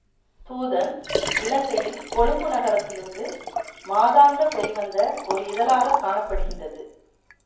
தூதன் இலங்கையில் கொழும்பு நகரத்திலிருந்து மாதாந்தம் வெளிவந்த ஒரு இதழாகக் காண படுகின்றது